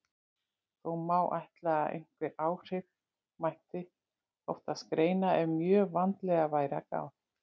Þó má ætla að einhver áhrif mætti oftast greina ef mjög vandlega væri að gáð.